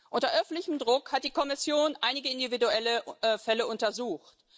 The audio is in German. Unter öffentlichem Druck hat die Kommission einige individuelle Fälle untersucht.